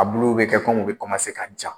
A bulu bɛ kɛ kɔmi u bɛ ka ja.